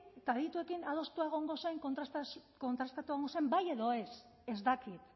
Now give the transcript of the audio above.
eta adituekin adostua egongo zen kontrastatua egongo zen bai edo ez ez dakit